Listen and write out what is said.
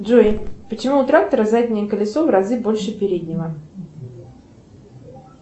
джой почему у трактора заднее колесо в разы больше переднего